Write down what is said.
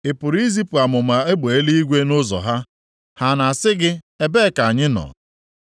Ị pụrụ izipụ amụma egbe eluigwe nʼụzọ ha? Ha na-asị gị, ‘Ebe a ka anyị nọ’?